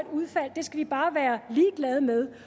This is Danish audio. udfald skal vi bare være ligeglad med